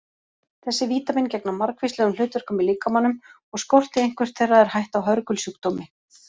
Þessi vítamín gegna margvíslegum hlutverkum í líkamanum og skorti eitthvert þeirra er hætta á hörgulsjúkdómi.